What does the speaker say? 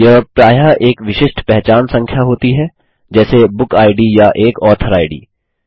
यह प्रायः एक विशिष्ट पहचान संख्या होती है जैसे बुक इद या एक ऑथर इद